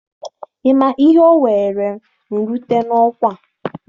Ị ma ihe o were m rute n'ọkwa a?